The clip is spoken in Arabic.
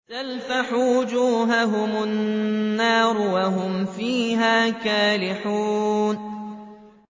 تَلْفَحُ وُجُوهَهُمُ النَّارُ وَهُمْ فِيهَا كَالِحُونَ